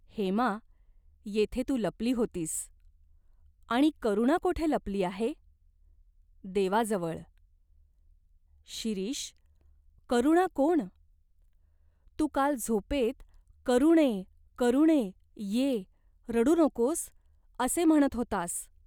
"हेमा, येथे तू लपली होतीस." "आणि करुणा कोठे लपली आहे?" "" देवाजवळ." "शिरीष, करुणा कोण? तू काल झोपेत ' करुणे, करुणे, ये, रडू नकोस, ' असे म्हणत होतास.